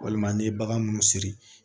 Walima ni ye bagan munnu siri